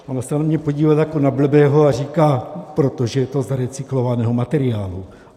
- Ona se na mě podívala jako na blbého a říká: Protože to je z recyklovaného materiálu.